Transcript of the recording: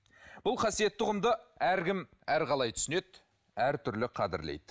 бұл қасиетті ұғымды әркім әрқалау түсінеді әртүрлі қадірлейді